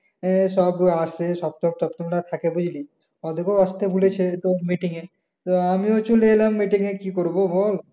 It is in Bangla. আহ সব আসে থাকে বুঝলি ওদেরকেও আসতে বলেছে তো মিটিংয়ে তো আমিও চলে এলাম মিটিংয়ে কি করব বল।